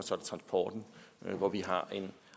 transporten hvor vi har en